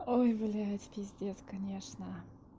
ой блять пиздец конечно